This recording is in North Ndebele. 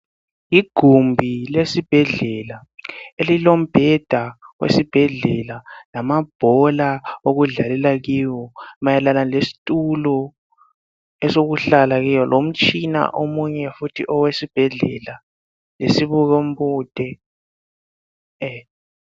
Igumbi lesibhedlela, elilombheda wesibhedlela lamabhola okudlalela kiwo, mayelana lesitulo esokuhlala kiwo, lomtshina omunye futhi owesibhedlela. Lesibuko mbude.